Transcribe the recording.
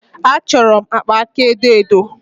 Achọrọ m akpa aka edo edo.